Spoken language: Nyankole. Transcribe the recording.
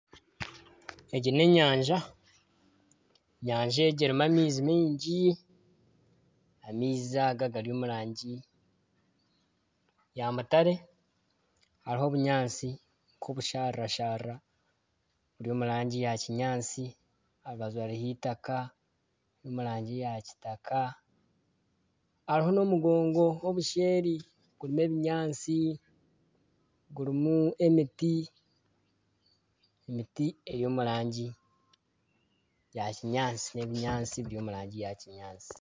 Egi n'enyanja, enyanja egi erimu amaizi maingi amaizi aga gari omu rangi ya mutare hariho obunyaatsi nka obushaarira- sharira buri omu rangi ya kinyaatsi aha rubaju hariho eitaaka riri omu rangi yakitaka hariho n'omugongo kuriya ebuseeri guriho ebinyaatsi gurimu emiti eri omurangi ya kinyaatsi n'ebinyaatsi biri omu rangi ya kinyaatsi.